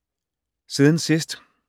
Siden sidst